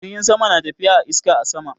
Jirgin sama na tafiya a iska a sama.